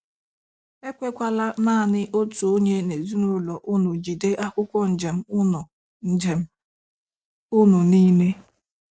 E kwekwala naanị otu onye n'ezinụlọ unu jide akwụkwọ njem unu njem unu niile.